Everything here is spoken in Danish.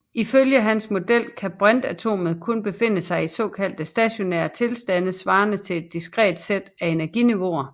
Ifølge hans model kan brintatomet kun befinde sig i såkaldte stationære tilstande svarende til et diskret sæt af energiniveauer